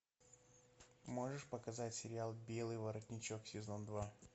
можешь показать сериал белый воротничок сезон два